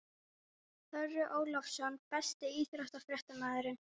Þorri Ólafsson Besti íþróttafréttamaðurinn?